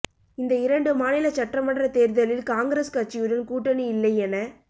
இந்த இரண்டு மாநில சட்டமன்ற தேர்தலில் காங்கிரஸ் கட்சியுடன் கூட்டணி இல்லை என